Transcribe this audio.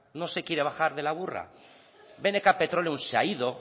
no se quiere bajar de la burra bnk petroleum se ha ido